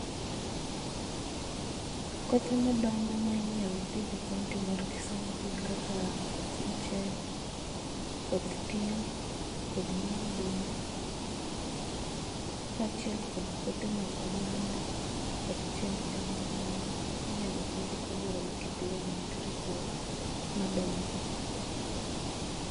Kothe ma dongo ma inyal pidh e kaunti mar Kisumu gin kaka koth mchele koth tiang', kodhi mar oduma, kachiel kod kothe mag oganda kod cham mamoko minyalo pidhi kaluore gi kit loo mantiere kuro madongi